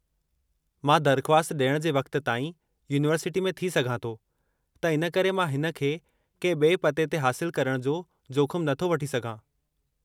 मां दरख़्वास्त डि॒यणु जे वक़्त ताईं यूनिवर्सिटी में थी सघां थो त इन करे मां हिन खे के बि॒ए पते ते हासिलु करणु जो जोखमु नथो वठी सघां।